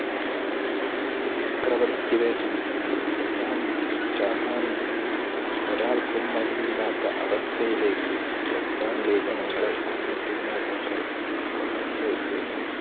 ചക്രവർത്തിക്ക് വേണ്ടി കൊല്ലാനും ചാകാനും ഒരാൾക്കും മടിയില്ലാത്ത അവസ്ഥയിലേക്ക് ജപ്പാനിലെ ജനങ്ങളെ അന്നത്തെ നേതാക്കൾ വളർത്തി യെത്തിരുന്നു